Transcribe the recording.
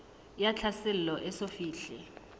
ya tlhaselo e eso fihle